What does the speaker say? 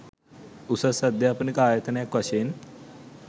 උසස් අධ්‍යාපනික ආයතනයක් වශයෙන්